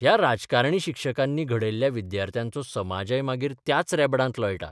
ह्या राजकारणी शिक्षकांनी घडयल्ल्या विद्यार्थ्यांचो समाजय मागीर 'त्याच रेबडांत लोळटा.